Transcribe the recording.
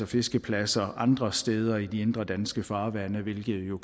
fiskepladser andre steder i de indre danske farvande hvilket jo